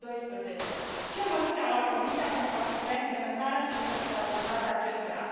2012. Ce măsuri a luat Comisia pentru a asigura implementarea și interoperabilitatea acestora?